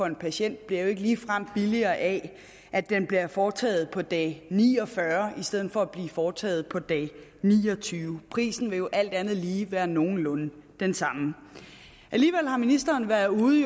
en patient jo ikke ligefrem billigere af at den bliver foretaget på dag ni og fyrre i stedet for at blive foretaget på dag niogtyvende prisen vil alt andet lige være nogenlunde den samme alligevel har ministeren været ude